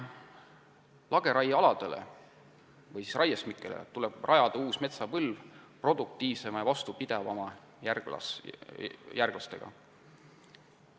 Lageraiealadele või raiesmikele tuleb rajada uus metsapõlv produktiivsemate ja vastupidavamate puude järglastega.